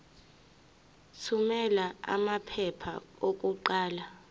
thumela amaphepha okuqala